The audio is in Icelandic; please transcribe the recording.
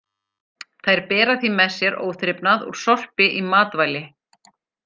Þær bera því með sér óþrifnað úr sorpi í matvæli.